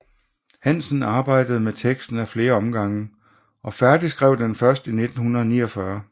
Hansen arbejdede med teksten ad flere omgange og færdigskrev den først i 1949